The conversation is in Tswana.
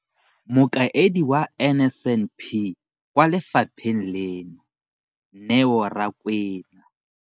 Mokaedi wa NSNP kwa lefapheng leno, Neo Rakwena,